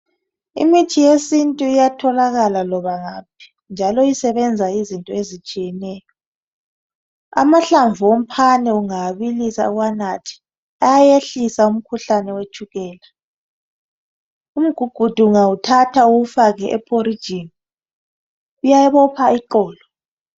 Imithi yesintu iyatholakala loba ngaphi, njalo isebenza izinto ezitshiyeneyo. Amahlamvu omphane ungawabilisa uwanathe ayehlisa umkhuhlane wetshukela, umgugudu ungawuthatha uwufake ephorijini uyabopha iqolo.